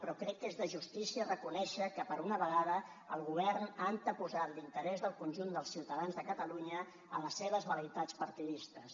però crec que és de justícia reconèixer que per una vegada el govern ha anteposat l’interès del conjunt dels ciutadans de catalunya a les seves vel·leïtats partidistes